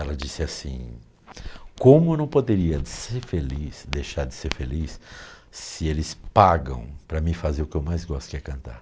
Ela disse assim: como eu não poderia ser feliz, deixar de ser feliz, se eles pagam para mim fazer o que eu mais gosto, que é cantar.